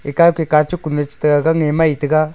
ekao ke kachuk kone chetai agang e maitai ga.